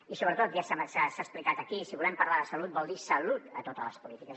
i sobretot ja s’ha explicat aquí si volem parlar de salut vol dir salut a totes les polítiques